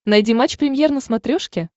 найди матч премьер на смотрешке